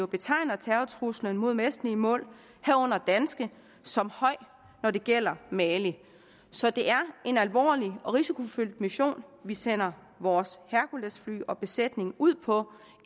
betegner terrortruslen mod vestlige mål herunder danske som høj når det gælder mali så det er en alvorlig og risikofyldt mission vi sender vores herculesfly og dets besætning ud på